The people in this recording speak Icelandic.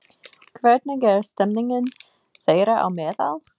Hvernig er stemmingin þeirra á meðal?